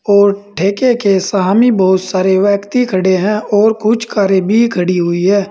और ठेके के सामने बहुत सारे व्यक्ति खड़े हैं और कुछ कारे भी खड़ी हुई है।